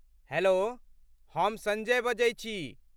Hello, हम सञ्जय बजै छी।